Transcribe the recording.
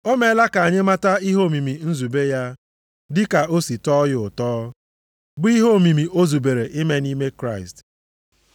O meela ka anyị mata ihe omimi nzube ya, dị ka o si tọọ ya ụtọ, bụ ihe omimi o zubere ime nʼime Kraịst.